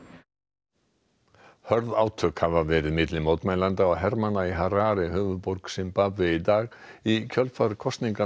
Hörð átök hafa verið milli mótmælenda og hermanna í Harare höfuðborg Simbabve í dag í kjölfar kosninganna þar í fyrradag